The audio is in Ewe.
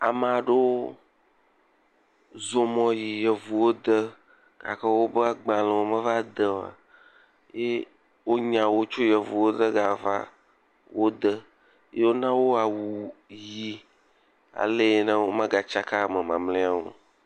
Ame aɖewo zɔ mɔ yi yevuwode gake wobe agbalẽwo meva de o. Ye wonya wo tso yevuwode gava wo de ye wona wo awu ʋɛ̃. Ale yi ne womegatsaka ame mamlɛawo.